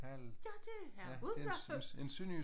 Ja det er udendørs